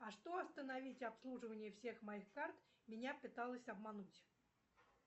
а что остановить обслуживание всех моих карт меня пыталась обмануть